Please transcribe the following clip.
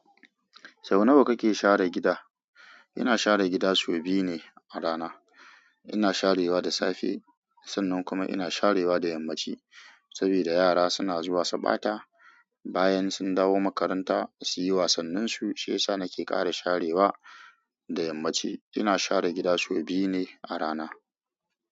Sau nawa kake share gida? Ina share gida sau biyu ne a rana. Ina sharewa da safe, sannan kuma ina sharewa da yammaci. Saboda yara suna zuwa subata bayan sun dawo makaranta su yi wasanninsu, shi yasa nake ƙara sharewa da yammaci. Ina share gida sau biyu ne a rana.